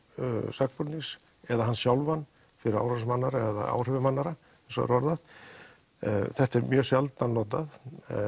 sakbornings eða hann sjálfan fyrir árásum annarra eða áhrifum annarra þetta er mjög sjaldan notað